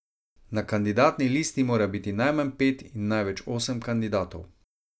Na kandidatni listi mora biti najmanj pet in največ osem kandidatov.